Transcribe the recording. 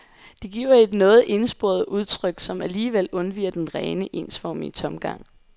Det giver et noget ensporet udtryk, som alligevel undviger den rene, ensformige tomgang.